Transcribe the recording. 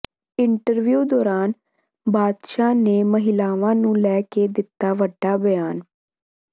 interview ਦੌਰਾਨ ਬਾਦਸ਼ਾਹ ਨੇ ਮਹਿਲਾਵਾਂ ਨੂੰ ਲੈ ਕੇ ਦਿੱਤਾ ਵੱਡਾ ਬਿਆਨ